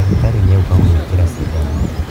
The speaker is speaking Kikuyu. Ndagitarĩ nĩ agũka gũgũĩkĩra cindano.